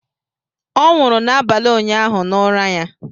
Ọ nwụrụ n'abalị ụnyaahụ n'ụra ya